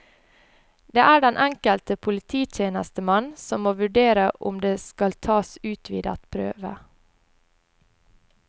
Det er den enkelte polititjenestemann som må vurdere om det skal tas utvidet prøve.